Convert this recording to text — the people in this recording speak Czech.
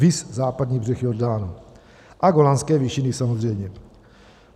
Viz Západní břeh Jordánu a Golanské výšiny samozřejmě.